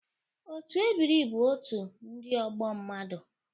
Otu ebiri bụ otu ndị ọgbọ mmadụ